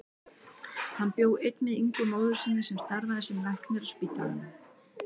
Hann bjó einn með Ingu móður sinni sem starfaði sem læknir á spítalanum.